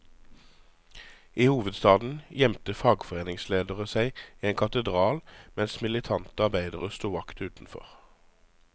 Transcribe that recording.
I hovedstaden gjemte fagforeningsledere seg i en katedral, mens militante arbeidere sto vakt utenfor.